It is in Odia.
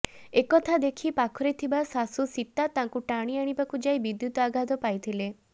ଏକଥା ଦେଖି ପାଖରେ ଥିବା ଶାଶୁ ସୀତା ତାଙ୍କୁ ଟାଣି ଆଣିବାକୁ ଯାଇ ବିଦ୍ୟୁତ୍ ଆଘାତ ପାଇଥିଲେ